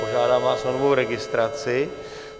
Požádám vás o novou registraci.